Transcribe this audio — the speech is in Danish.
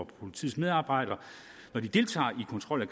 politiets medarbejdere når de deltager i kontrol af